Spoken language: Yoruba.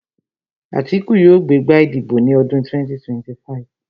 Àtíkù yóò gbé gbá ìdìbò ní ọdún 2025